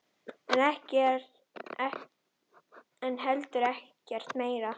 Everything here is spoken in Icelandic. En heldur ekkert meira.